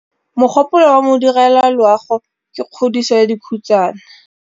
Mogôpolô wa Modirediloagô ke kgodiso ya dikhutsana.